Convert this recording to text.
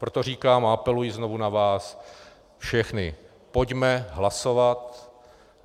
Proto říkám a apeluji znovu na vás všechny, pojďme hlasovat.